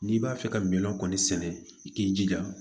N'i b'a fɛ ka miliyɔn kɔni sɛnɛ i k'i jija